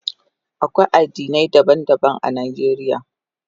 Akwai addinai daban-daban a Najeriya.